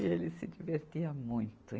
E ele se divertia muito.